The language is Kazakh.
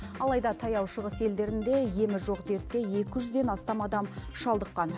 алайда таяу шығыс елдерінде емі жоқ дертке екі жүзден астам адам шалдыққан